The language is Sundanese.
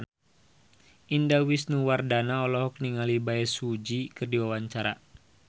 Indah Wisnuwardana olohok ningali Bae Su Ji keur diwawancara